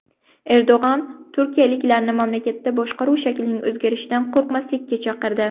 Erdo‘g‘on turkiyaliklarni mamlakatda boshqaruv shaklining o‘zgarishidan qo‘rqmaslikka chaqirdi.